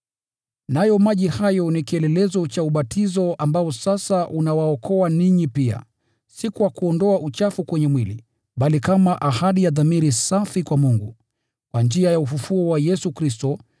Nayo maji hayo ni kielelezo cha ubatizo ambao sasa unawaokoa ninyi pia: si kwa kuondoa uchafu kwenye mwili, bali kama ahadi ya dhamiri safi kwa Mungu, kwa njia ya ufufuo wa Yesu Kristo.